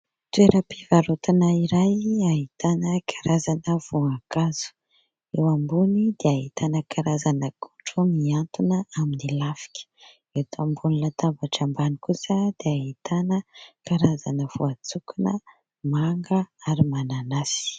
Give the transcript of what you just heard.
Toeram-pivarotana iray ahitana karazana voankazo : eo ambony dia ahitana karazana akondro mihantona amin'ny lafika, eto ambony latabatra ambany kosa dia ahitana karazana voantsokona, manga ary mananasy.